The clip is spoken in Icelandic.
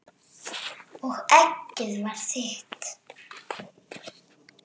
Og eggið var þitt!